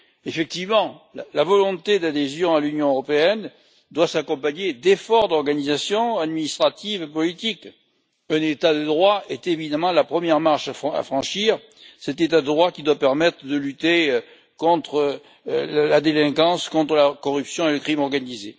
Effectivement, la volonté d'adhésion à l'Union européenne doit s'accompagner d'efforts d'organisation administrative et politique. Un État de droit est évidemment la première marche à franchir, cet État de droit qui doit permettre de lutter contre la délinquance, contre la corruption et le crime organisé.